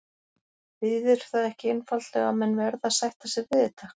Þýðir það ekki einfaldlega að menn verði að sætta sig við þetta?